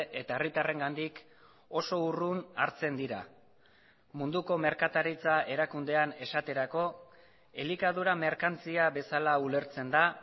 eta herritarrengandik oso urrun hartzen dira munduko merkataritza erakundean esaterako elikadura merkantzia bezala ulertzen da